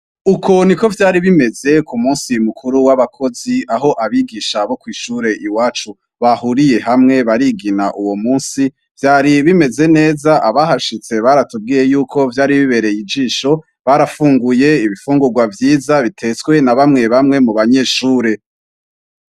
Uko niko vyari bimeze kumunsi mukuru w'abakozi aho abigisha bo kw'ishure iwacu bahuriye hamwe barigina uwomunsi vyari bimeze neza abahashitse baratubwiye yuko vyari bibereye ijisho. Barafunguye ibifungurwa vyiza bitetswe na bamwe bamwe mubanyeshure.